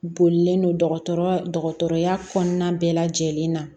Bolilen don dɔgɔtɔrɔya kɔnɔna bɛɛ lajɛlen na